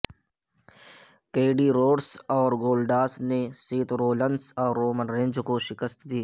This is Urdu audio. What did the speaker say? کیڈی روڈس اور گولڈاس نے سیت رولنس اور رومن رینج کو شکست دی